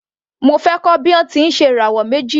Mo fẹ́ kọ́ bí a ti ń ṣe ìràwọ̀ méjì.